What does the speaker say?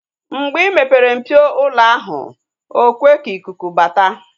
Mgbe ị mepere mpio ụlọ ahụ, ekwe ka ikuku bata